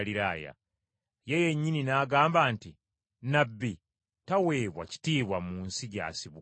Ye yennyini yagamba nti, “Nnabbi taweebwa kitiibwa mu nsi gy’asibuka.”